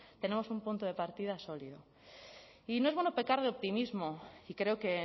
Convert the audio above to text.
tenemos un punto de partida sólido y no es bueno pecar de optimismo y creo que